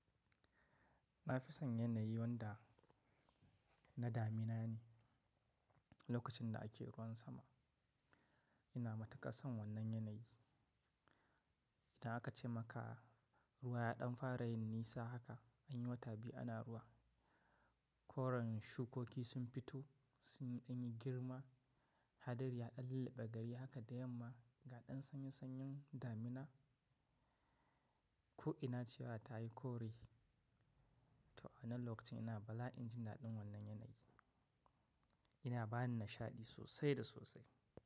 Na fi son yanayi wanda na damina ne lokacin da ake ruwan sama. Ina matuƙar son wannan yanayi. Idan aka ce maka ruwa ya ɗan fara yin nisa haka, anyi wata biyu ana ruwa. Koren shukoki sun fito sun yi girma, hadari ya ɗan lullabe gari haka da yamma ga ɗan sanyesanyen damina. Ko ina cewa ta yi kore, to a wannan lokacin ina bala'i jin daɗin wannan yanayi. Ina bani nishaɗi sosai da sosai.